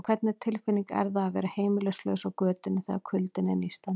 En hvernig tilfinning er það að vera heimilislaus á götunni, þegar kuldinn er nístandi?